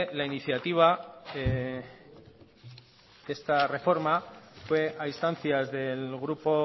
la iniciativa esta reforma fue a instancias del grupo